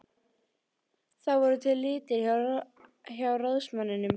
Það voru til litir hjá ráðsmanninum.